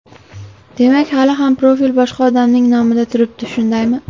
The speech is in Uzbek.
Demak, hali ham profil boshqa odamning nomida turibdi, shundaymi?